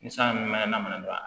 Ni san min mɛ na mana don a la